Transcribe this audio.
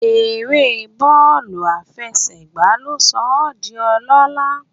Eré bọ́ọ̀lù àfẹsẹ̀gbá ló sọ ọ́ di ọlọ́lá